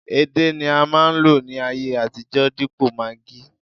edé ni a ma nlo ní ayé àtijó dipo maggi